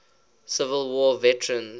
civil war veterans